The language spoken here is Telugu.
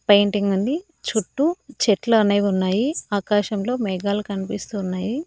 పెయింటింగ్ ఉంది చుట్టూ చెట్లు అనేవి ఉన్నాయి ఆకాశంలో మేఘాలు కనిపిస్తున్నాయి.